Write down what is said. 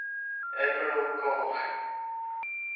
admiral karl